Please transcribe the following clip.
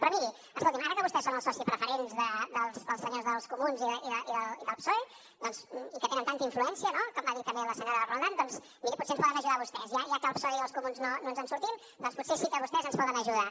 però miri escolti ara que vostès són els socis preferents dels senyors dels comuns i del psoe i que tenen tanta influència no com va dir també la senyora roldán doncs miri potser ens poden ajudar vostès ja que amb el psoe i els comuns no ens en sortim potser sí que vostès ens poden ajudar